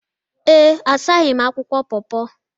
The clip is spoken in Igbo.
Ee, asaghị m akwụkwọ paw paw